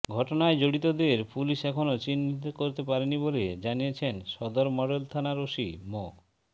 ঘটনায় জড়িতদের পুলিশ এখনো চিহ্নিত করতে পারেনি বলে জানিয়েছেন সদর মডেল থানার ওসি মো